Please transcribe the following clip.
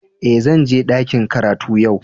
Eh, zan je dakin karatu yau.